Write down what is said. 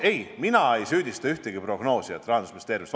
Ei, mina ei süüdista ühtegi prognoosijat Rahandusministeeriumist.